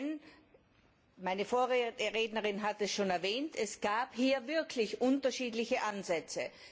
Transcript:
Denn meine Vorrednerin hat es schon erwähnt es gab hier wirklich unterschiedliche Ansätze.